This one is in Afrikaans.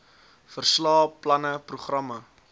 verslae planne programme